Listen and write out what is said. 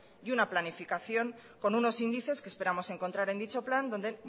y una planificación con unos índices que esperamos encontrar en dicho plan donde